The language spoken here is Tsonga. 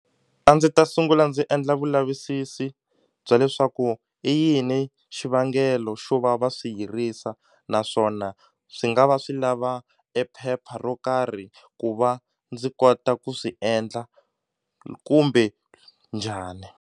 A ndzi ta sungula ndzi endla vulavisisi bya leswaku i yini xivangelo xo va va swi yirisa naswona swi nga va swi lava e phepha ro karhi ku va ndzi kota ku swi endla kumbe njhani.